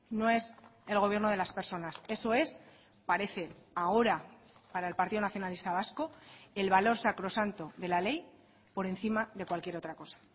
no es el gobierno de las personas eso es parece ahora para el partido nacionalista vasco el valor sacrosanto de la ley por encima de cualquier otra cosa